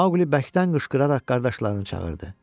Mauli bərkdən qışqıraraq qardaşlarını çağırdı.